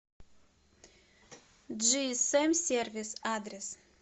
джиэсэм сервис адрес